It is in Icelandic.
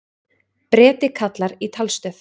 Breti kallar í talstöð.